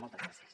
moltes gràcies